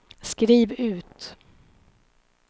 skriv ut